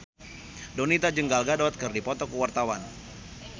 Donita jeung Gal Gadot keur dipoto ku wartawan